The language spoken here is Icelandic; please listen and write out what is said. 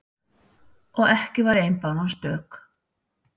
Og ekki var ein báran stök.